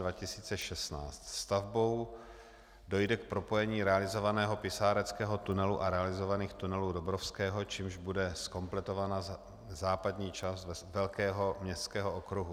Stavbou dojde k propojení realizovaného pisáreckého tunelu a realizovaných tunelů Dobrovského, čímž bude zkompletovaná západní část velkého městského okruhu.